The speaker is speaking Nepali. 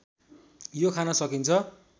यो खान सकिन्छ